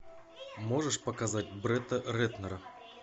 можешь показать бретта рэтнера